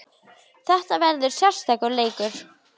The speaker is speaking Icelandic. Þetta verður sérstakur leikur.